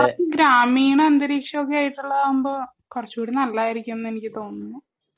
കുറച്ച് ഗ്രാമീണ അന്തരീക്ഷം ഒക്കെ ആയിട്ടുള്ള ആകുമ്പോ കുറച്ചൂടെ നല്ല്ലതായിരിക്കും എന്ന് എനിക്ക് തോനുന്നു